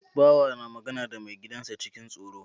Bawa na magana da mai gidan sa cikin tsoro